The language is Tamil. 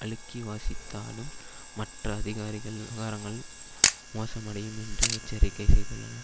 அழுக்கி வாசித்தாலும் மற்ற அதிகாரிகள் விவகாரங்கள் மோசமடையும் என்றே எச்சரிக்கை செய்துள்ளனர்